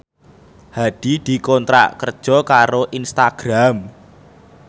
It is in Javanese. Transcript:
Hadi dikontrak kerja karo Instagram